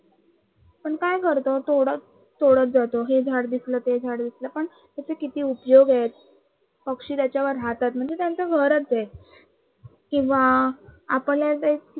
काय करतो तोडत तोडत जातो हे झाडं दिसल ते झाडं दिसल पण त्याचे किती उपयोग आहेत पक्षी त्याच्यावर राहतात म्हणजे त्यांच घरच आहे. किंवा आपल्याला